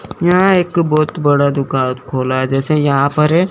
यहां एक बहुत बड़ा दुकान खोला जैसे यहां पर है।